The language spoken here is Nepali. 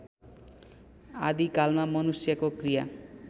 आदिकालमा मनुष्यको क्रिया